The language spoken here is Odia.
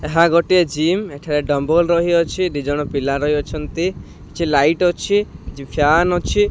ଏହା ଗୋଟିଏ ଜିମ ଏଠାରେ ଡମ୍ୱଲ୍ ରହିଅଛି ଦି ଜଣ ପିଲା ରହିଅଛନ୍ତି କିଛି ଲାଇଟ୍ କିଛି ଫ୍ୟାନ ଅଛି।